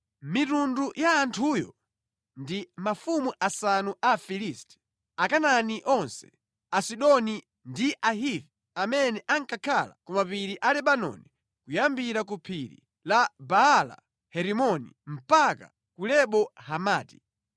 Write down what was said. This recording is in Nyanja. Mitundu ya anthuyo ndi: Mafumu asanu a Afilisti, Akanaani onse, Asidoni, ndi Ahivi amene ankakhala ku mapiri a Lebanoni kuyambira ku phiri la Baala-Herimoni mpaka ku Lebo Hamati.